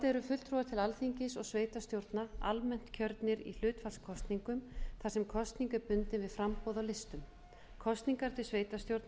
eru fulltrúar til alþingis og sveitarstjórna almennt kjörnir í hlutfallskosningum þar sem kosning er bundin við framboð á listum kosningar til sveitarstjórna